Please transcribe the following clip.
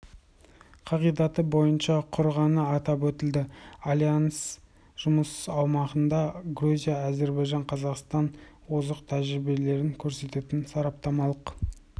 қағидаты бойынша құрғаны атап өтілді альянс жұмысы ауқымында грузия әзірбайжан қазақстанның озық тәжірибелерін көрсететін сараптамалық